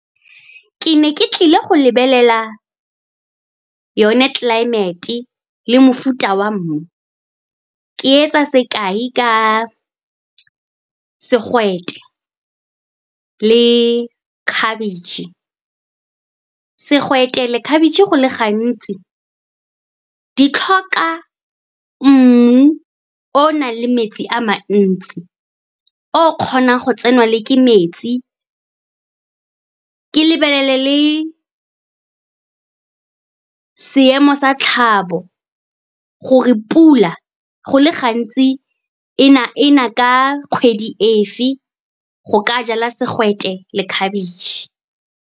Ke ne ke tlile go lebelela yone climate-e le mofuta wa mmu. Ke etsa sekai ka segwete le khabetšhe. Segwete le khabetšhe go le gantsi di tlhoka mmu o o nang le metsi a mantsi, o kgonang go tsenwa ke metsi. Ke lebelele le seemo sa tlhabo, gore pula go le gantsi e na ka kgwedi efe, go ka jala segwete le khabetšhe.